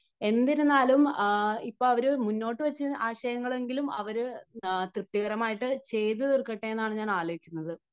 എന്നിരുന്നാലും ഇപ്പോൾ അവർ മുന്നോട്ടുവെച്ച ആശയങ്ങൾ എങ്കിലും അവര് തൃപ്തികരം ആയിട്ട് ചെയ്തു തീർക്കട്ടെ എന്നാണ് ഞാൻ ആലോചിക്കുന്നത്.